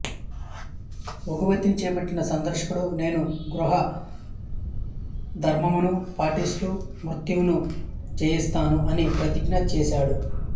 ఓఘవతిని చేపట్టిన సుదర్శనుడు నేను గృహస్థధర్మమును పాటిస్తూ మృత్యువును జయిస్తాను అని ప్రతిజ్ఞ చేసాడు